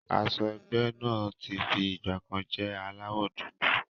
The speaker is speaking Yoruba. Aṣọ ẹgbẹ́ náà tí fi ìgbàkan jẹ́ aláwọ̀ dúdú.